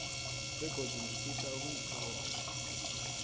begodu ngifisa ukunithokoza